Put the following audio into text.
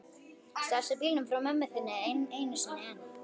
Stalstu bílnum frá mömmu þinni enn einu sinni?